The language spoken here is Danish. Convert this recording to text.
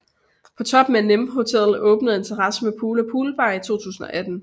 På toppen af Nimb Hotel åbnede en terrasse med pool og poolbar i 2018